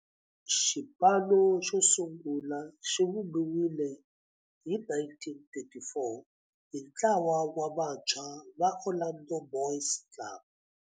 Xipano xosungula xivumbiwile hi 1934 hi ntlawa wa vantshwa va Orlando Boys Club.